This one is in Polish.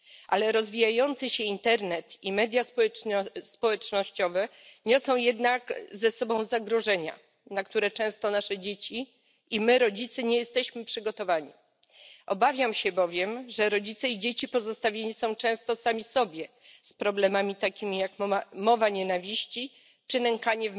Jednak rozwijający się internet i media społecznościowe niosą ze sobą zagrożenia, na które często nasze dzieci i my rodzice nie jesteśmy przygotowani. Obawiam się bowiem, że rodzice i dzieci pozostawieni są często sami sobie z problemami takimi jak mowa nienawiści czy nękanie